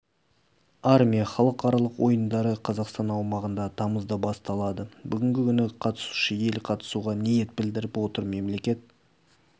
армия халықаралық ойындары қазақстан аумағында тамызда басталады бүгінгі күні қатысушы ел қатысуға ниет білдіріп отыр мемлекет